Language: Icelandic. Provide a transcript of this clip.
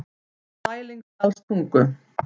Sælingsdalstungu